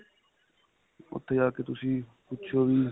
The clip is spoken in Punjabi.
ਉੱਥੇ ਜਾਕੇ ਤੁਸੀਂ ਪੁਛਿਓ ਵੀ